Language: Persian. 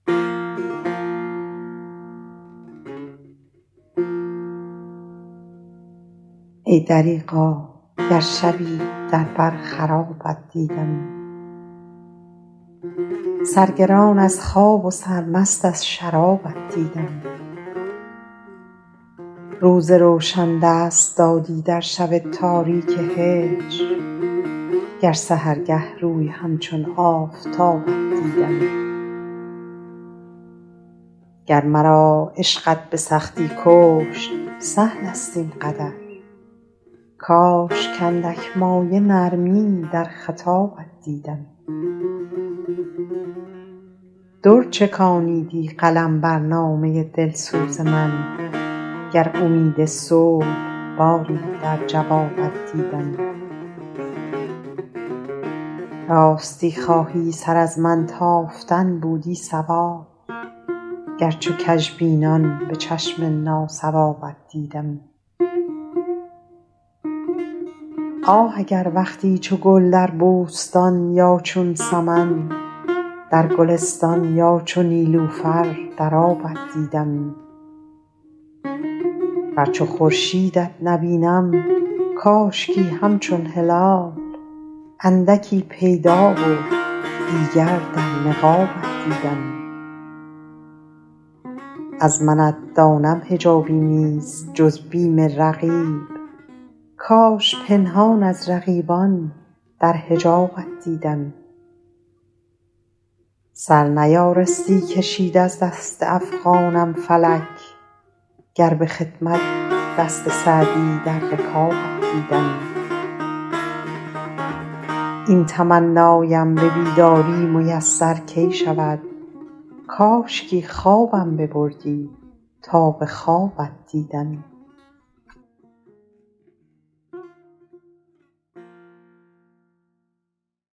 ای دریغا گر شبی در بر خرابت دیدمی سرگران از خواب و سرمست از شرابت دیدمی روز روشن دست دادی در شب تاریک هجر گر سحرگه روی همچون آفتابت دیدمی گر مرا عشقت به سختی کشت سهل است این قدر کاش کاندک مایه نرمی در خطابت دیدمی در چکانیدی قلم بر نامه دلسوز من گر امید صلح باری در جوابت دیدمی راستی خواهی سر از من تافتن بودی صواب گر چو کژبینان به چشم ناصوابت دیدمی آه اگر وقتی چو گل در بوستان یا چون سمن در گلستان یا چو نیلوفر در آبت دیدمی ور چو خورشیدت نبینم کاشکی همچون هلال اندکی پیدا و دیگر در نقابت دیدمی از منت دانم حجابی نیست جز بیم رقیب کاش پنهان از رقیبان در حجابت دیدمی سر نیارستی کشید از دست افغانم فلک گر به خدمت دست سعدی در رکابت دیدمی این تمنایم به بیداری میسر کی شود کاشکی خوابم گرفتی تا به خوابت دیدمی